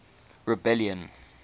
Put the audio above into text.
rebellion